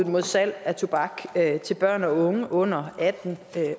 mod salg af tobak til børn og unge under atten